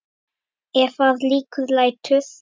Ef að líkum lætur.